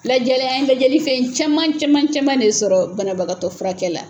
Lajɛlɛ an ye lajɛlifɛn caman caman caman de sɔrɔ banabagatɔ furakɛ la.